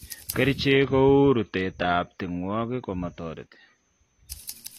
Kercheek kouu rutet ab tingwoik komatoretii